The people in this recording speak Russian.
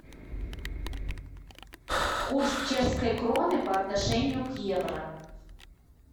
курс чешской кроны по отношению к евро